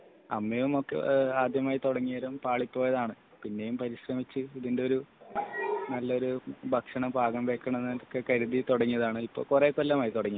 അമ്മയും ആദ്യമായി തുടങ്ങിയത് പാളിപ്പോയതാണു പിന്നെയും പരിശ്രമിച്ചു ഇതിന്റെ ഒരു നല്ലൊരു ഭക്ഷണം പാകം ചെയ്യണം എന്ന് കരുതി തുടങ്ങിയതാണ് .ഇപ്പോൾ കൊറേ കൊല്ലമായി തുടങ്ങിയിട്ട്